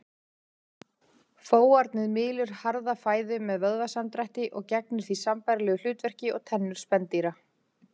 Fóarnið mylur harða fæðu með vöðvasamdrætti og gegnir því sambærilegu hlutverki og tennur spendýra.